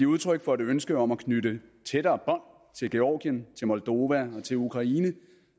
udtryk for et ønske om at knytte tættere til georgien til moldova og til ukraine